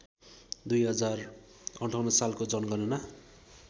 २०५८ सालको जनगणना